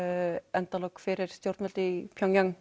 endalok fyrir stjórnvöld í